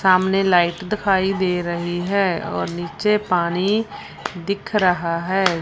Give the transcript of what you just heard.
सामने लाइट दिखाई दे रही है और नीचे पानी दिख रहा है।